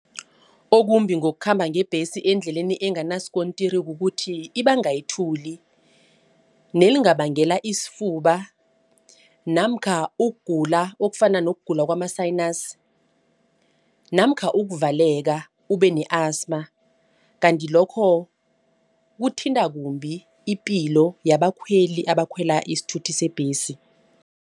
Okumbi ngokukhamba ngebhesi endleleni enganasikontiri kukuthi ibanga ithuli. Nelingabangela isifuba namkha ukugula okufana nokugula kwama-sinus namkha ukuvaleka ube ne-asthma. Kanti lokho kuthinta kumbi ipilo yabakhweli abakhwela isithuthi sebhesi.